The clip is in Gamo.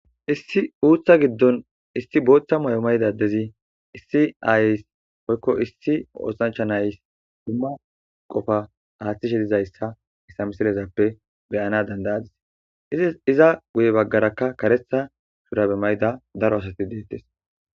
issi uutha giddon issi booththa mayo mayda adezi issi ayis woykko issi oosancha nays duma qofa aaththishe dizayssa hayissa misilezappe beyana dandayadis iza guye baggarakka kareta shurabe mayda daro asati deettes